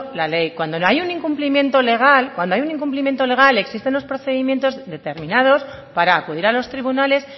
la ley cuando hay un incumplimiento legal cuando hay un incumplimiento legal existen unos procedimientos determinados para acudir a los tribunales